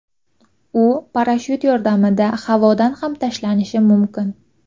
U parashyut yordamida havodan ham tashlanishi mumkin.